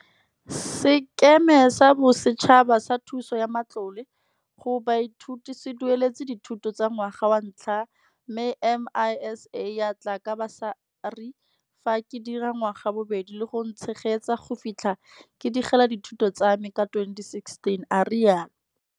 Sekema sa Bosetšhaba sa Thuso ya Matlole go Baithuti se dueletse dithuto tsa ngwaga wa ntlha mme MISA ya tla ka basari fa ke dira ngwaga wa bobedi le go ntshegetsa go fitlha ke digela dithuto tsame ka 2016, a rialo.